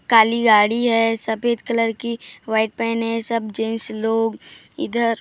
काली गाड़ी है सफेद कलर की व्हाइट पेन है सब जेंट्स लोग इधर--